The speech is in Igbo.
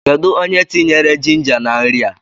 Kedụ onye tinyere jinja na nri a?